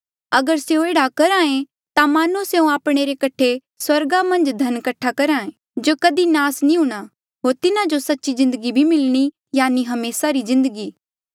अगर स्यों एह्ड़ा करहे ता मानो स्यों आपणे रे कठे स्वर्गा मन्झ धन कठा करी करहे जो कधी भी नास नी हूंणा होर तिन्हा जो सच्ची जिन्दगी भी मिलणी यानि हमेसा री जिन्दगी